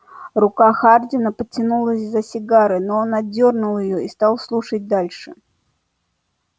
рука хардина потянулась за сигарой но он отдёрнул её и стал слушать дальше